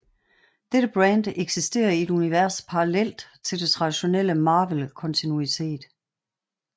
Dette brand eksiterer i et univers parallelt til det traditionelle Marvel kontinuitet